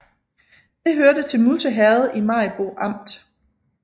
Det hørte til Musse Herred i Maribo Amt